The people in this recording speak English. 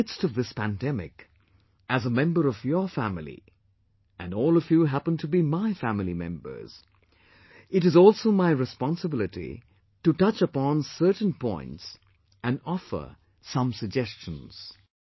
In the midst of this pandemic, as a member of your family, and all of you happen to be my family members, it is also my responsibility to touch upon certain points and offer some suggestions